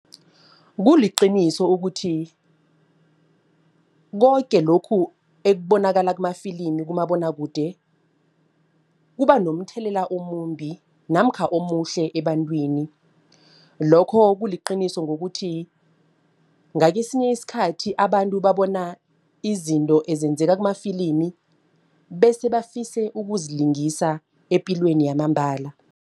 Kuliqiniso ukuthi koke lokhu ekubonakala kumafilimi kumabonwakude kuba nomthelela omumbi namkha omuhle ebantwini. Lokho kuliqiniso ngokuthi ngakesinye isikhathi abantu babona izinto ezenzeka kumafilimi bese bafise ukuzilingisa epilweni yamambala.